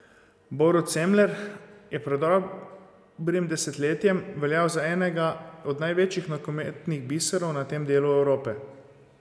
Borut Semler je pred dobrim desetletjem veljal za enega od največjih nogometnih biserov na tem delu Evrope.